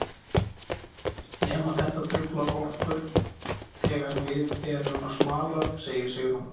Nema þetta truflar okkur þegar við erum að smala, segir Sigrún.